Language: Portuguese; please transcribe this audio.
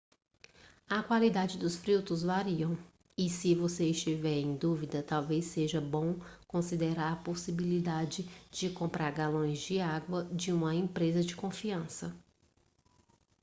a qualidade dos filtros variam e se você estiver em dúvida talvez seja bom considerar a possibilidade de comprar galões de água de uma empresa de confiança